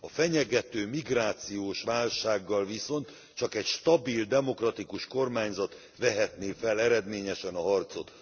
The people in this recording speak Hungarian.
A fenyegető migrációs válsággal viszont csak egy stabil demokratikus kormányzat vehetné fel eredményesen a harcot.